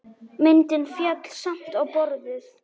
Myndin féll samt á borðið.